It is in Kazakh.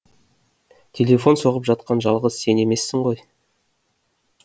телефон соғып жатқан жалғыз сен емессің ғой